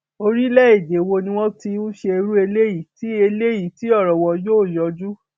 orílẹèdè wo ni wọn ti ń ṣe irú eléyìí tí eléyìí tí ọrọ wọn yóò yanjú